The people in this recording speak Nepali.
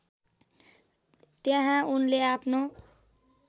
त्यहाँ उनले आफ्नो